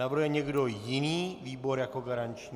Navrhuje někdo jiný výbor jako garanční?